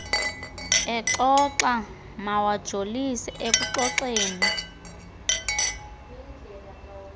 exoxa mawajolise ekuxoxeni